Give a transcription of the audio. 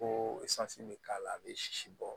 Ko bɛ k'a la a bɛ sisi bɔ